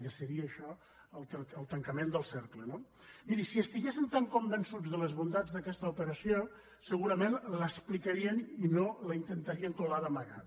ja seria això el tancament del cercle no miri si estiguessin tan convençuts de les bondats d’aquesta operació segurament l’explicarien i no la intentarien colar d’amagat